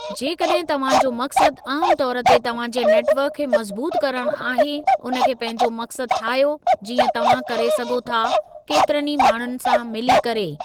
जेकॾहिं तव्हां जो मक़सदु आमु तौर ते तव्हां जे नेटवर्क खे मज़बूतु करणु आहे, उन खे पंहिंजो मक़सदु ठाहियो जीअं तव्हां करे सघो था केतिरनि ई माण्हुनि सां मिली करे।